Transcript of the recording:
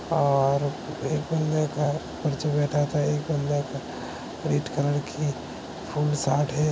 और एक बंदे का बैठत है। एक बंदे का रेड कलर कि फुल शर्ट है।